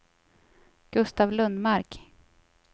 Gustav Lundmark